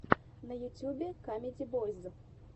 на ютубе камеди бойз